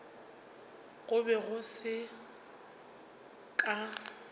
go be go se ka